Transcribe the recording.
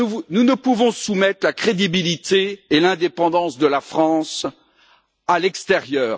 Nous ne pouvons soumettre la crédibilité et l'indépendance de la France à l'extérieur.